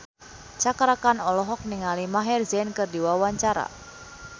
Cakra Khan olohok ningali Maher Zein keur diwawancara